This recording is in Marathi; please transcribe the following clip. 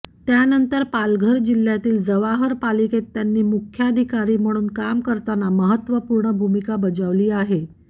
त्यानंतर पालघर जिल्हय़ातील जवाहर पालिकेत त्यांनी मुख्याधिकारी म्हणून काम करताना महत्वपूर्ण भूमिका बजावली आहे